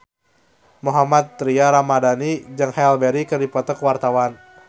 Mohammad Tria Ramadhani jeung Halle Berry keur dipoto ku wartawan